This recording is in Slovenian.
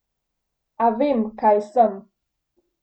A vem, kaj sem.